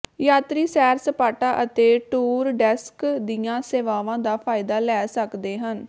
ਯਾਤਰੀ ਸੈਰ ਸਪਾਟਾ ਅਤੇ ਟੂਰ ਡੈਸਕ ਦੀਆਂ ਸੇਵਾਵਾਂ ਦਾ ਫਾਇਦਾ ਲੈ ਸਕਦੇ ਹਨ